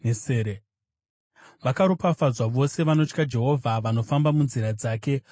Vakaropafadzwa vose vanotya Jehovha, vanofamba munzira dzake.